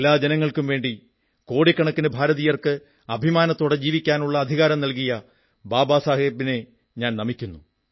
എല്ലാ ജനങ്ങൾക്കും വേണ്ടി കോടിക്കണക്കിന് ഭാരതീയർക്ക് അഭിമാനത്തോടെ ജീവിക്കാനുള്ള അധികാരം നല്കിയ ബാബാ സാഹബിനെ ഞാൻ നമിക്കുന്നു